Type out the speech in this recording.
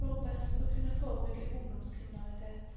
for best å kunne forebygge ungdomskriminalitet.